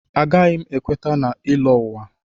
Agaghị m ekweta na ịlọ ụwa.